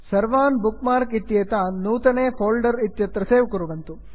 सर्वान् bookmark इत्येतान् नूतने फोल्डर् इत्यत्र सेव् कुर्वन्तु